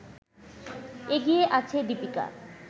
এগিয়ে আছে দীপিকা